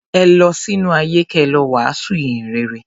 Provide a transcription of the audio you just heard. Ẹ lọ sínú ayé kẹ lọ wàásù ìhìn rere.